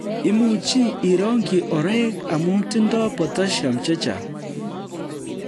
Imuchi irongji oreek amu tindoi potassium che chang'